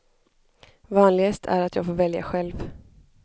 Vanligast är att jag får välja själv.